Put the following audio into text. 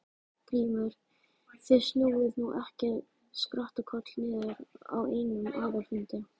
GRÍMUR: Þið snúið nú ekki skrattakoll niður á einum aðalfundi.